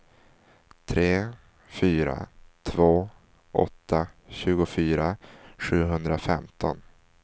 tre fyra två åtta tjugofyra sjuhundrafemton